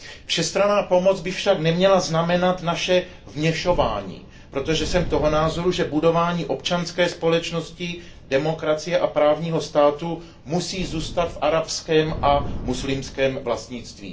Všestranná pomoc by však neměla znamenat naše vměšování, protože jsem toho názoru, že budování občanské společnosti, demokracie a právního státu musí zůstat v arabském a muslimském vlastnictví.